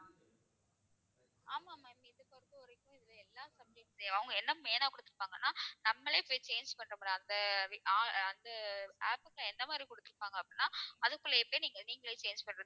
ஆமா ma'am இது பொறுத்தவரைக்கும் இதுல எல்லா subtitle அவங்க என்ன main ஆ கொடுத்திருப்பாங்கன்னா நம்மளே போய் change பண்ற மாதிரி அந்த அஹ் அந்த app க்கு எந்த மாதிரி கொடுத்திருப்பாங்க அப்படின்னா அதுக்குள்ள எப்படி நீங்க நீங்களே change பண்றது